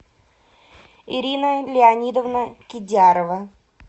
ирина леонидовна кидярова